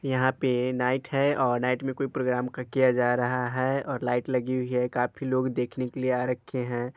यहाँ पे नाईट है और नाईट में कोई प्रोग्राम क-किया जा रहा है। और लाइट लगी हुई है काफी लोग देखने के लिए आ रखे हैं।